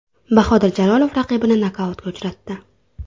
Bahodir Jalolov raqibini nokautga uchratdi.